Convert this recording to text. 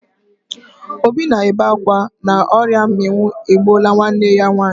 Obi na-ebe akwa na ọrịa mminwụ egbuola nwanne ya nwaanyị.